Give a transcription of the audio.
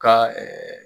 Ka